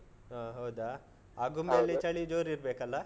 ಆಹ್ ಹೌದಾ? ಆಗುಂಬೆಯಲ್ಲಿ. ಚಳಿ ಜೋರ್ ಇರ್ಬೇಕಲ್ಲಾ?